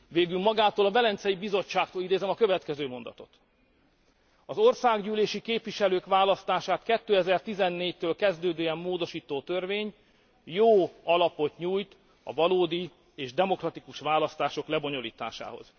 Végül magától a Velencei Bizottságtól idézem a következő mondatot az országgyűlési képviselők választását 2014 től kezdődően módosító törvény jó alapot nyújt a valódi és demokratikus választások lebonyolításához.